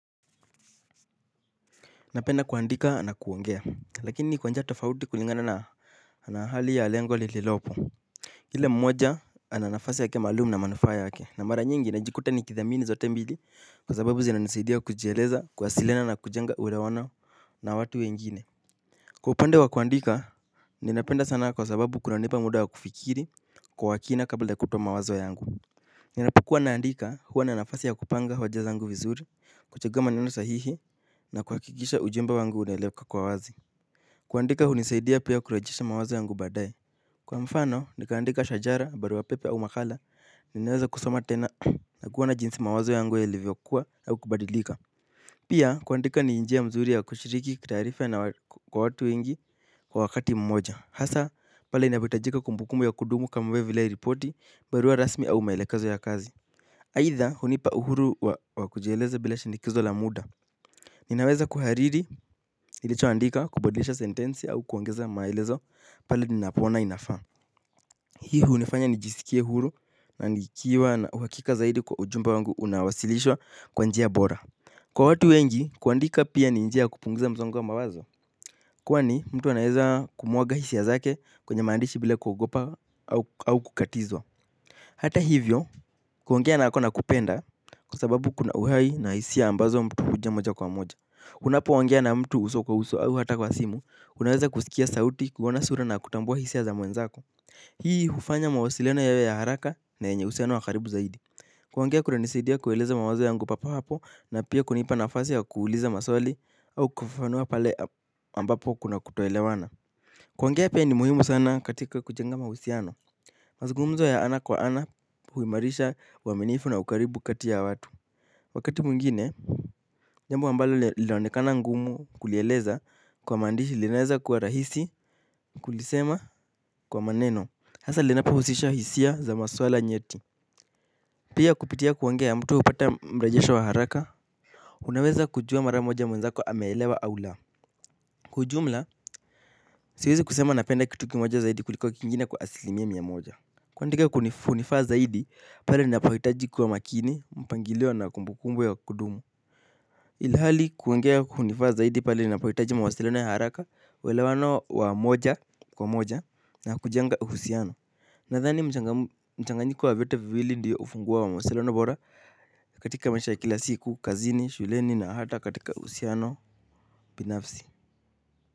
Napenda kuandika na kuongea lakini kwa njia tofauti kulingana na hali ya lengo lililopo kila mmoja ananafasi yake malumu na manufaa yake na mara nyingi najikuta nikithamini zote mbili kwa sababu zina nisaidia kujieleza kuwasilihana kujenga kuhelewana na watu wengine. Kwa upande wa kuandika ninapenda sana kwa sababu kuna nipa muda wa kufikiri kwa wakina kabla kutowa mawazo yangu. Ninapokua naandika huwa na nafasi ya kupanga hoja zangu vizuri kuchek maneno sahihi na kuhakikisha ujumbe wangu unaheleweka kwa wazi. Kuandika hunisaidia pia kurejesha mawazo yangu badae. Kwa mfano ni kuandika shajara barua pepe au makala ninaweza kusoma tena na kuhona jinsi mawazo yangu yalivyokuha au kubadilika. Pia kuandika ni njia mzuri ya kushiriki kitarifa na kwa watu wengi kwa wakati mmoja hasa pale inapo itajika kumbukumbu ya kudumu kama vile ripoti barua rasmi au maelekazo ya kazi. Haitha hunipa uhuru wa kujieleze bila shindikizo la muda. Ninaweza kuhariri nilichoandika kubalisha sentensi au kuongeza maelezo pale ninapohona inafa. Hii hunifanya nijisikie huru na nikiwa na uhakika zaidi kwa ujumba wangu unawasilishwa kwa njia bora. Kwa watu wengi kuandika pia ni njia ya kupunguza msongo wa mawazo, kwani mtu anaweza kumwaga hisia zake kwenye maandishi bila kuhogopa au kukatizwa. Hata hivyo kuhongea na ako nakupenda kwa sababu kuna uhai na hisia ambazo mtu ujia moja kwa moja. Unapo hongea na mtu uso kwa uso au hata kwa simu unaweza kusikia sauti kuhona sura na kutambua hisia za mwenzako. Hii hufanya mawasiliano yawe ya haraka na yenye usiano wakaribu zaidi. Kuhongea kunanisadia kuheleza mawazo yangu papo hapo na pia kunipa nafasi ya kuuliza maswali au kufafanuwa pale ambapo kuna kutoelewana. Kuhongea pia ni muhimu sana katika kujenga mahusihano. Mazungumzo ya ana kwa ana huimarisha waminifu na ukaribu kati ya watu. Wakati mwingine, jambo ambalo linaonekana ngumu kulieleza kwa mandishi linaweza kuwa rahisi. Kulisema kwa maneno, hasa linapo usisha hisia za maswala nyeti. Pia kupitia kuongea mtu upata mrajesho wa haraka. Unaweza kujua mara moja mwenzako ameelewa au la kwa ujumla, siwezi kusema napenda kitu kimoja zaidi kuliko kingine kwa asilimiya moja. Kwandika kunanifaa zaidi pale ninapohitaji kuwa makini mpangiliyo na kumbukumbu ya kudumu. Ilhali kuhongea kunifaa zaidi pale ninapohitaji mawasilino ya haraka welewano wa moja kwa moja na kujenga husiano. Nathani mchanganyiko wa vyote viwili ndiyo ufunguwo wa mawasiliano bora katika masha ya kila siku, kazini, shuleni na hata katika husiano binafsi.